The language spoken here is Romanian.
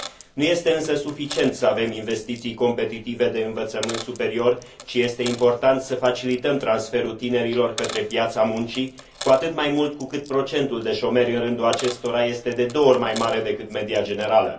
Nu este însă suficient să avem investiții competitive de învățământ superior, ci este important să facilităm transferul tinerilor către piața muncii, cu atât mai mult cu cât procentul de șomeri în rândul acestora este de două ori mai mare decât media generală.